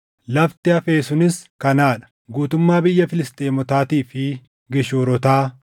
“Lafti hafe sunis kanaa dha: “guutummaa biyya Filisxeemotaatii fi Geshuurotaa,